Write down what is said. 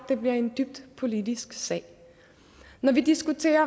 det bliver en dybt politisk sag når vi diskuterer